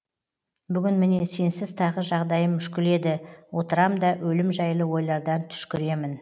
бүгін міне сенсіз тағы жағдайым мүшкіл еді отырам да өлім жайлы ойлардан түшкіремін